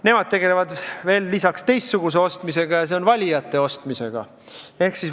Nemad tegelevad lisaks ka teistsuguse ostmisega, see on valijate häälte ostmisega.